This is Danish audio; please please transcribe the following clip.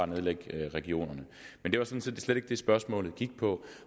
nedlægge regionerne men det var slet ikke det spørgsmålet gik på